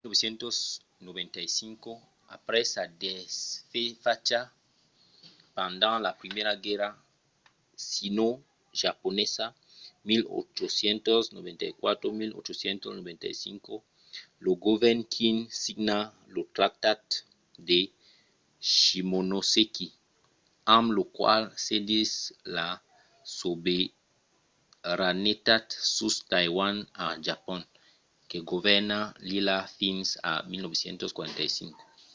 en 1895 après sa desfacha pendent la primièra guèrra sinojaponesa 1894-1895 lo govèrn qing signa lo tractat de shimonoseki amb lo qual cedís la sobeiranetat sus taiwan a japon que govèrna l'illa fins a 1945